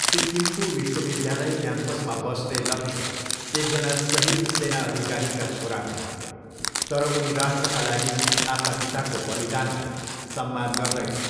सिक्किमको विश्वविद्यालय क्याम्पसमा बस्ने लक्ष्य एकजना सहिद सेना अधिकारीका छोरा हुन्, तर उनी राष्ट्रका लागि आफ्ना पिताको बलिदानलाई सम्मान गर्दैनन्।